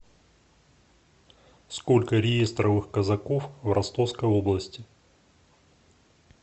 сколько реестровых казаков в ростовской области